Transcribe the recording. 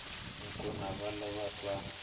nkuna va lo na twa